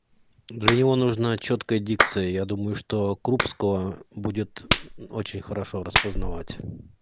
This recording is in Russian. для него нужна чёткая дикция я думаю что крупского будет очень хорошо распознавать